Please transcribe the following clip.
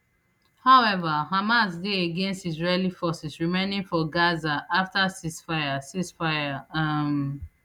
however hamas dey against israeli forces remaining for gaza afta ceasefire ceasefire um